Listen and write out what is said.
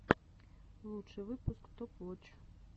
лучший выпуск топ воч